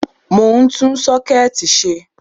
Mọ̀ ń tún Ṣọ́kẹ́ẹ̀tì ṣe